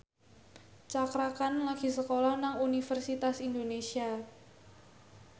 Cakra Khan lagi sekolah nang Universitas Indonesia